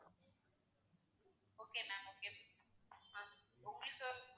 okay ma'am okay ma'am, ma'am உங்களுக்கு,